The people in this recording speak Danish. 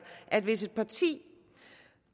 at hvis et parti